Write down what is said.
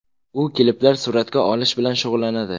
U kliplar suratga olish bilan shug‘ullanadi.